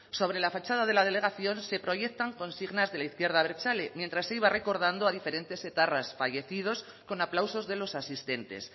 sobre la fachada de la delegación se proyectan consignas de la izquierda abertzale mientras se iba recordando a diferentes etarras fallecidos con aplausos de los asistentes